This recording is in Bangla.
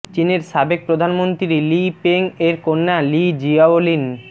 চীনের সাবেক প্রধানমন্ত্রী লি পেং এর কন্যা লি জিয়াওলিন